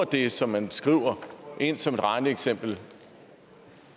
det som man skriver ind som et regneeksempel